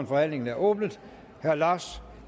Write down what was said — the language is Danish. forhandlingen er åbnet herre lars